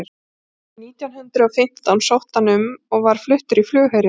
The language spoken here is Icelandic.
árið nítján hundrað og fimmtán sótti hann um og var fluttur í flugherinn